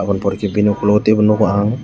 aboni pore ke bini okolog o tebo nogo ang.